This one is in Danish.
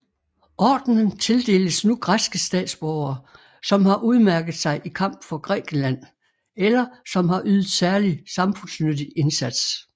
Ordenen tildeles nu græske statsborgere som har udmærket sig i kamp for Grækenland eller som har ydet særlig samfundsnyttig indsats